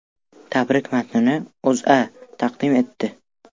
Tabrik matnini O‘zA taqdim etdi.